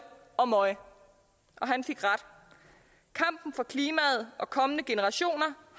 og møj han fik ret kampen for klimaet og kommende generationer